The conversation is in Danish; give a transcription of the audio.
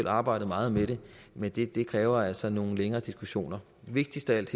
har arbejdet meget med det men det det kræver altså nogle længere diskussioner vigtigst af alt